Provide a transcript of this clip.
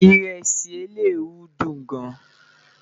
iresi eleruu dùn gán